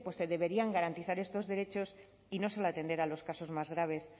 se deberían garantizar estos derechos y no solo atender a los casos más graves